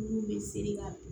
Mun bɛ seri ka